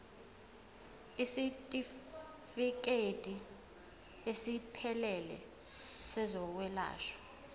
isitifikedi esiphelele sezokwelashwa